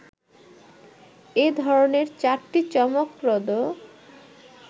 এ ধরনের চারটি চমকপ্রদ